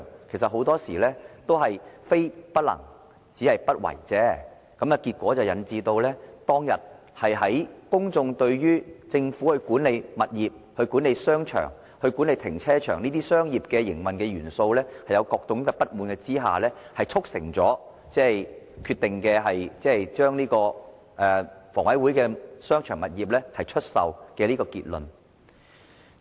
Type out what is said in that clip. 其實很多時候都是非不能也，實不為也，結果引致公眾對政府在管理物業、商場和停車場方面的商業營運元素產生各種不滿，促成將房委會的商場物業出售這個決定。